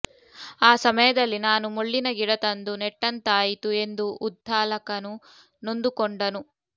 ಆ ಸಮಯದಲ್ಲಿ ನಾನು ಮುಳ್ಳಿನ ಗಿಡ ತಂದು ನೆಟ್ಟಂತಾಯಿತು ಎಂದು ಉದ್ಧಾಲಕನು ನೊಂದುಕೊಂಡನು